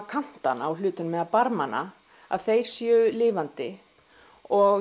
kantana á hlutunum eða barmana að þeir séu lifandi og